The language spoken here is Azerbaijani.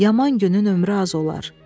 Yaman günün ömrü az olar.